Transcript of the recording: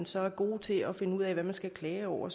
så er gode til at finde ud af hvad man skal klage over